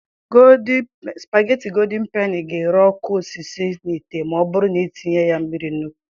Spageti godin peni ga ere ọkụ ọsịsọ n'ite ma ọ bụrụ na i tinye ya mmiri nnukwu.